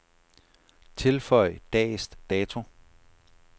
Tilføj dags dato.